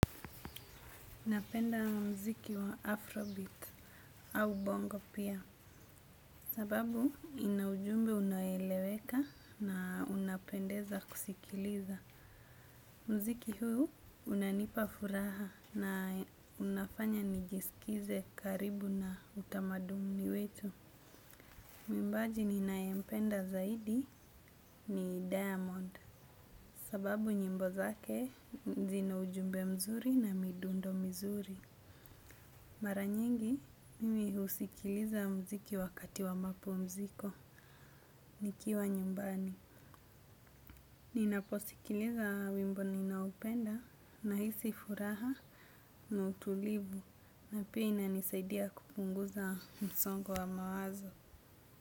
Napenda mziki wa Afrobeats au bongo pia. Sababu ina ujumbe unoeleweka na unapendeza kusikiliza. Mziki huu unanipa furaha na unafanya nijisikize karibu na utamaduni wetu. Muimbaji ninaempenda zaidi ni Diamond. Sababu nyimbo zake zina ujumbe mzuri na midundo mizuri. Mara nyingi mimi husikiliza mziki wakati wa mapumziko nikiwa nyumbani. Ninaposikiliza wimbo ninaopenda nahisi furaha na utulivu na pia inanisaidia kupunguza msongo wa mawazo.